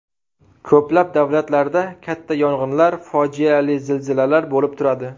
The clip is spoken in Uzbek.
Ko‘plab davlatlarda katta yong‘inlar, fojiali zilzilalar bo‘lib turadi.